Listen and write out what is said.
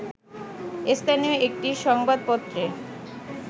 স্থানীয় একটি সংবাদপত্রে